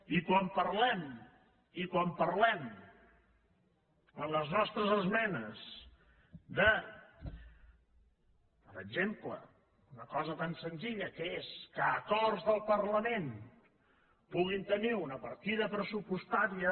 i quan parlem en les nostres esmenes de per exemple una cosa tan senzilla que és que acords del parlament puguin tenir una partida pressupostària